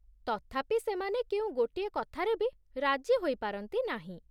ତଥାପି ସେମାନେ କେଉଁ ଗୋଟିଏ କଥାରେ ବି ରାଜି ହୋଇ ପାରନ୍ତି ନାହିଁ ।